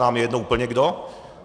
Nám je úplně jedno kdo.